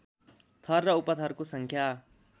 थर र उपथरको सङ्ख्या